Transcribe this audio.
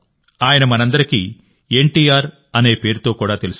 ఆయన మనందరికీ ఎన్టీఆర్ అనే పేరుతో కూడా తెలుసు